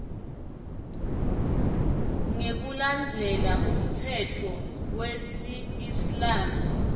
ngekulandzela umtsetfo wesiislamu